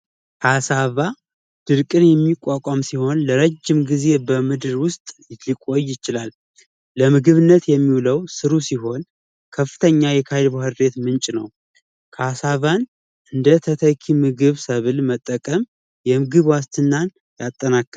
አሳባ ድርቅን የሚቋቋም ሲሆን ለረጅም ጊዜ በምድር ዉስጥ የቆየ ይችላል የምግብነት የሚውለው ስሩ ሲሆን ከፍተኛ ባህር ቤት ምንጭ ነው እንዴት ተጠቂ ምግብ ሰብል መጠቀም ዋስትናን ያጠናቀቅል